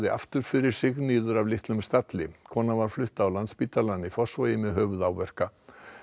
aftur fyrir sig niður af litlum stalli konan var flutt á Landspítalann í Fossvogi með höfuðáverka